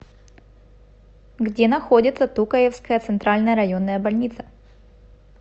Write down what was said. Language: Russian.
где находится тукаевская центральная районная больница